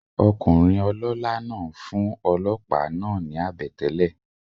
Okùnrin olólá náà n fún olòópá náà ni àbètélè